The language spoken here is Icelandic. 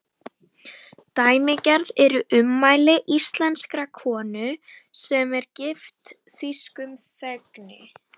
Dæmigerð eru ummæli íslenskrar konu, sem gift er þýskum þegni.